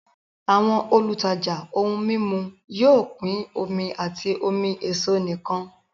Àwọn olùtajà ohun mímu yóò pín omi àti omi èso nìkan